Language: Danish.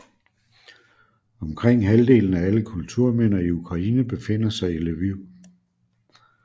Omkring halvdelen af alle kulturminder i Ukraine befinder sig i Lviv